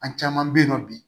An caman bɛ yen nɔ bi